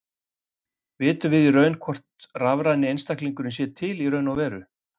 Vitum við í raun hvort rafræni einstaklingurinn sé til í raun og veru?